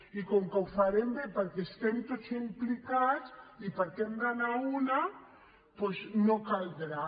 i com que ho farem bé perquè hi estem tots implicats i perquè hem d’anar a l’una doncs no caldrà